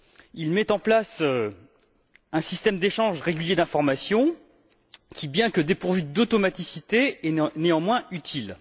Il met en place un système d'échange régulier d'informations qui, bien que dépourvu d'automaticité, est néanmoins utile.